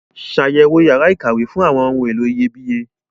Ṣàyẹ̀wò yàrá ìkàwé fún àwọn ohun èlò iyebíye.